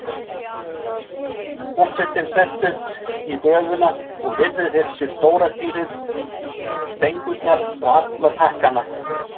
Forsetinn sest upp í gröfuna og virðir fyrir sér stóra stýrið, stengurnar og alla takkana.